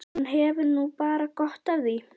Og hann hefur nú bara gott af því.